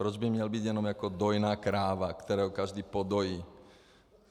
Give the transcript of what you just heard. Proč by měl být jenom jako dojná kráva, kterou každý podojí?